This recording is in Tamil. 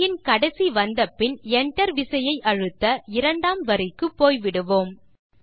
வரியின் கடைசி வந்த பின் Enter விசையை அழுத்த இரண்டாம் வரிக்கு போய் விடுவோம்